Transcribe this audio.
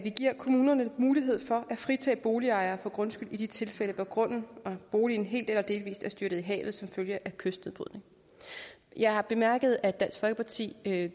kommunerne mulighed for at fritage boligejere for grundskyld i de tilfælde hvor grunden og boligen helt eller delvis er styrtet i havet som følge af kystnedbrydning jeg har bemærket at dansk folkeparti